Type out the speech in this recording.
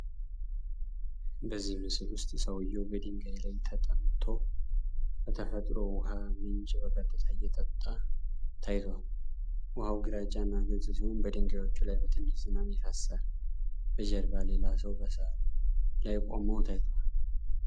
በዚህ ምስል ውስጥ ሰውዬው በድንጋይ ላይ ተጠምቶ ከተፈጥሮ ውሃ ምንጭ በቀጥታ እየጠጣ ታይቷል። ውሃው ግራጫ እና ግልጽ ሲሆን በድንጋዮች ላይ በትንሽ ዝናብ ይፈስሳል። በጀርባ ሌላ ሰው በሣር ላይ ቆመው ታይቷል።